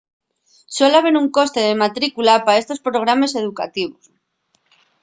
suel haber un coste de matrícula pa estos programes educativos